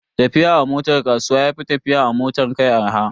Tafiya a motar kasuwa ya fi tafiya a motar kai arha.